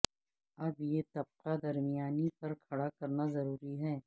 اب یہ طبقہ درمیانی پر کھڑا کرنا ضروری ہے